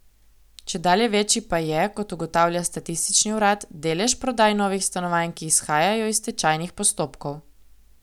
Čedalje večji pa je, kot ugotavlja statistični urad, delež prodaj novih stanovanj, ki izhajajo iz stečajnih postopkov.